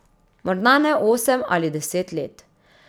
Morda ne osem ali deset let.